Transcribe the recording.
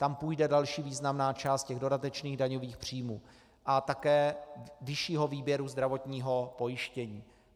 Tam půjde další významná část těch dodatečných daňových příjmů a také vyššího výběru zdravotního pojištění.